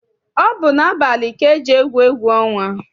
Ọ bụ n'abalị ka eji egwu egwu ọnwa.